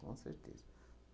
Com certeza.